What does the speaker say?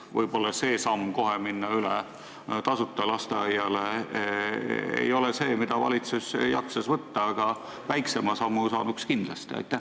Võib-olla seda sammu, et kohe minna üle tasuta lasteaiale, valitsus ei jaksaks võtta, aga väiksema sammu saaks kindlasti teha.